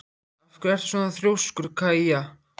Af hverju ertu svona þrjóskur, Kaía?